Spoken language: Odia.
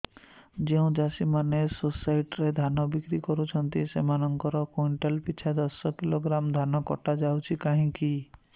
ଯେଉଁ ଚାଷୀ ମାନେ ସୋସାଇଟି ରେ ଧାନ ବିକ୍ରି କରୁଛନ୍ତି ସେମାନଙ୍କର କୁଇଣ୍ଟାଲ ପିଛା ଦଶ କିଲୋଗ୍ରାମ ଧାନ କଟା ଯାଉଛି କାହିଁକି